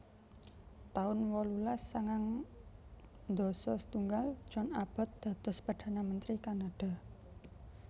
taun wolulas sangang dasa setunggal John Abbott dados perdana menteri Kanada